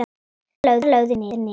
Þar lögðust þeir niður.